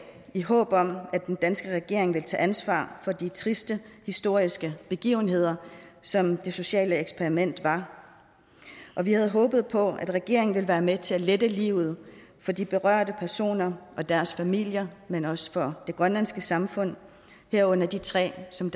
i håb om at den danske regering vil tage ansvar for de triste historiske begivenheder som det sociale eksperiment var og vi havde håbet på at regeringen vil være med til at lette livet for de berørte personer og deres familier men også for det grønlandske samfund herunder de tre som